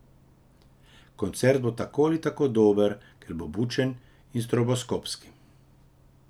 Koncert bo tako ali tako dober, ker bo bučen in stroboskopski.